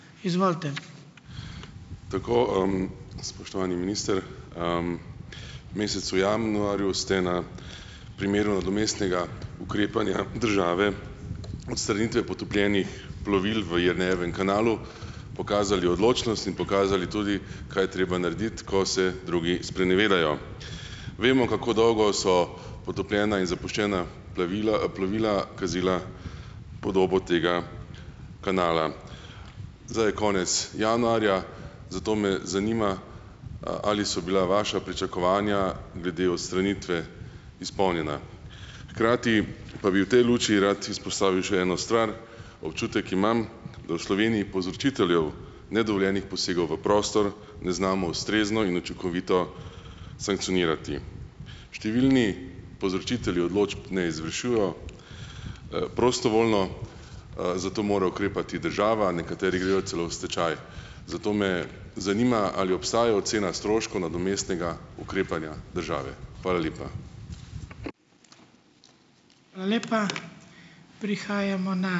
Tako, spoštovani minister. V mesecu januarju ste na primeru nadomestnega ukrepanja države odstranitve potopljenih plovil v Jernejevem kanalu pokazali odločnost in pokazali tudi, kaj je treba narediti, ko se drugi sprenevedajo. Vemo, kako dolgo so potopljena in zapuščena plevila, plovila kazila podobo tega kanala. Zdaj je konec januarja, zato me zanima, ali so bila vaša pričakovanja glede odstranitve izpolnjena? Hkrati pa bi v tej luči rad izpostavil še eno stvar. Občutek imam, da v Sloveniji povzročitelju nedovoljenih posegov v prostor ne znamo ustrezno in učinkovito sankcionirati. Številni povzročitelji odločb ne izvršujejo, prostovoljno, zato mora ukrepati država, nekateri grejo celo v stečaj. Zato me zanima, ali obstaja ocena stroškov nadomestnega ukrepanja države? Hvala lepa.